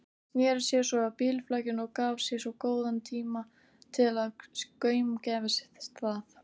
Sneri sér svo að bílflakinu og gaf sér góðan tíma til að gaumgæfa það.